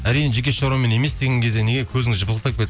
әрине жеке шаруамен емес деген кезде неге көзіңіз жыпылықтап